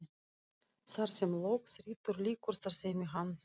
Þar sem lög þrýtur lýkur starfsemi hans.